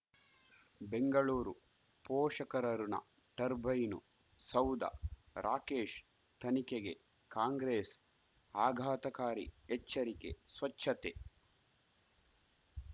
ಬೆಂಗಳೂರು ಪೋಷಕರಋಣ ಟರ್ಬೈನು ಸೌಧ ರಾಕೇಶ್ ತನಿಖೆಗೆ ಕಾಂಗ್ರೆಸ್ ಆಘಾತಕಾರಿ ಎಚ್ಚರಿಕೆ ಸ್ವಚ್ಛತೆ